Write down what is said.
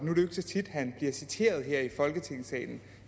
så tit han bliver citeret her i folketingssalen